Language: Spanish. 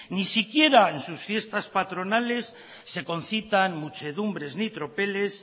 ni siquiera en sus fiestas patronales se concitan muchedumbres ni tropeles